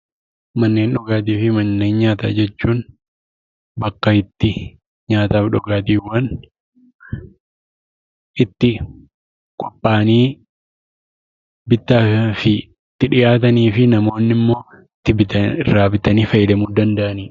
Manneen dhugaatiifi manneen nyaataa jechuun; bakka itti nyaataaf dhugaatiiwwan itti qophaanni bitaaf itti dhiyaatanifi namoonni immoo irraa bitaani faayyadaamuu danda'aanidha.